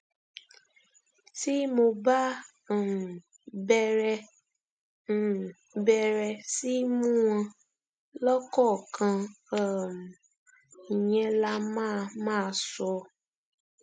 tí mo bá um bẹrẹ um bẹrẹ sí í mú wọn lọkọọkan um ìyẹn lá máa máa sọ